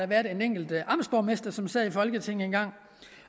været en enkelt amtsborgmester som sad i folketinget engang